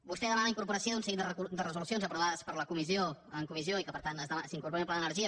vostè demana la incorporació d’un seguit de resolucions aprovades en comissió i que per tant s’incorporin en el pla d’energia